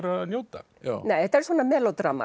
að njóta nei þetta er svona